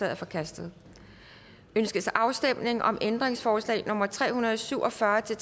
er forkastet ønskes afstemning om ændringsforslag nummer tre hundrede og syv og fyrre til